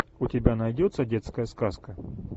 у тебя найдется детская сказка